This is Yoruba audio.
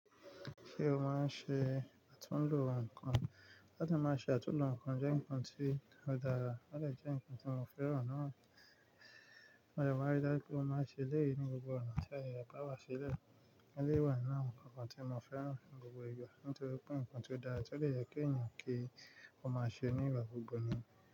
Ṣé o máa ń ṣe àtúnlo nǹkan? Láti máa ṣe àtúnlo nǹkan jẹ́ nǹkan tí ó dára, ó lè jẹ́ nǹkan tí mo fẹ́ràn náà. Mo dẹ̀ má rí dájú wípé mo máa ṣe eléyìí ní gbogbo ọ̀nà tí a yàrá bá wá sílẹ̀. Ó lé wà náà nǹkan kan tí mo fẹ́ràn ní gbogbo ìgbà nítorí pé nǹkan tí ó dára tí ó le yẹ kí ẹ̀yàn kí ó máa ṣe ní ìgbà gbogbo ni.